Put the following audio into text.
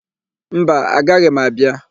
Mba, agaghị m abịa.